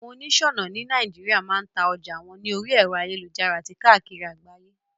Àwon onísònà ni Naijiria ma n ta ojà won ni orí èro ayélujára àti kákìri àgbáyé